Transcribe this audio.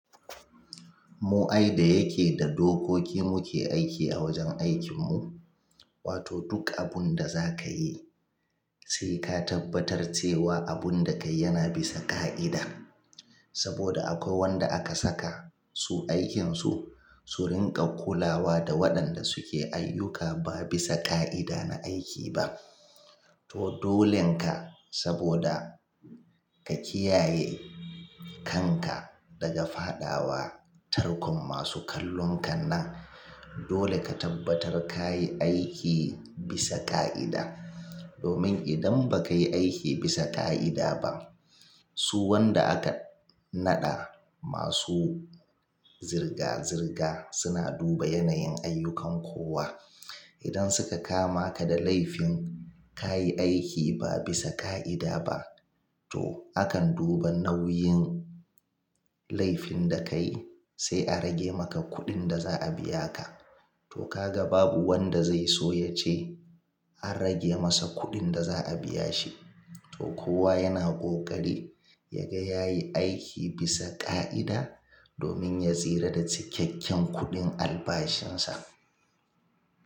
Mu ai da yake da dokoki muke aiki a wajen aikin mu. Wato duk abun da za ka yi sai ka tabbatar cewa abun da ka yi yana bisan ka'ida. Saboda akwai wanda aka saka su aikin su, su riƙa kulawa da waɗanda suke ayyuka ba bisa ka'ida na aiki ba. To dolin ka saboda ka kiyaye kan ka daga fadawa tarkon masu kallon kan nan, dole ka tabbatar ka yi aiki bisa ka'ida. Domin idan ba ka yi aiki bisa ka'ida ba, su wanda aka naɗa masu zirga-zirga suna duba yanayin ayyukan kowa. Idan suka kama ka da laifin ka yi aiki ba bisa ka'ida ba, to akan duba nauyin laifin da ka yi sai a rage maka kuɗin da za a biya ka. To ka ga babu wanda zai so ya ce an rage masa kuɗin da za a biya shi. To kowa yana ƙoƙari ya ga ya yi aiki bisa ka'ida domin ya tsira da cikakken kuɗin albashin sa.